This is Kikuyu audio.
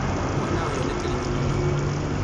mwana ũyũ nĩ kĩrimũ mũno